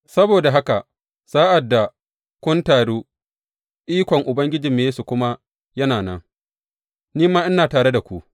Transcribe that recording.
Saboda haka sa’ad da kun taru ikon Ubangijinmu Yesu kuma yana nan, ni ma ina tare da ku.